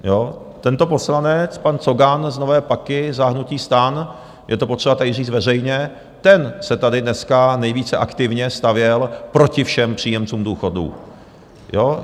Tento poslanec, pan Cogan z Nové Paky za hnutí STAN, je to potřeba tady říct veřejně, ten se tady dneska nejvíce aktivně stavěl proti všem příjemcům důchodů.